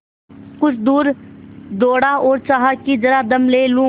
कुछ दूर दौड़ा और चाहा कि जरा दम ले लूँ